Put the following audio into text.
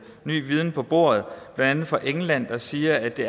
ny viden på bordet blandt andet fra england der siger at det